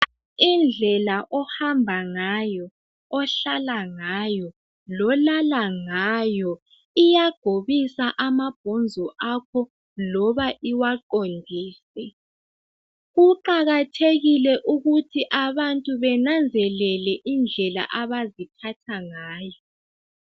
Indlela ohamba ngayo ohlala ngayo lolala ngayo iyagobisa amabhonzo akho loba iwaqondise. kuqakathekile ukuthi abantu benanzelele indlela abaziphatha ngawo.